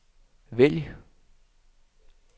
vælg